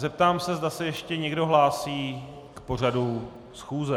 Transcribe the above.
Zeptám se, zda se ještě někdo hlásí k pořadu schůze.